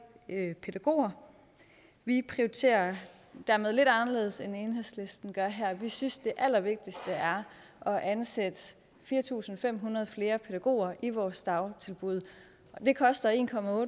pædagoger vi prioriterer dermed dette anderledes end enhedslisten gør her vi synes at det allervigtigste er at ansætte fire tusind fem hundrede flere pædagoger i vores dagtilbud det koster en